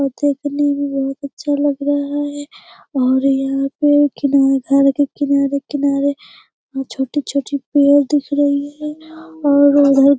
और देखने में बोहोत अच्छा लग रह है और यहां पे घर के किनारे-किनारे छोटी-छोटी पेड़ दिख रही है और बहुत --